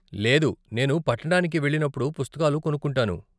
లేదు, నేను పట్టణానికి వెళ్ళినప్పుడు పుస్తకాలు కొనుక్కుంటాను.